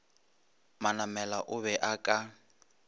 manamela o be a ka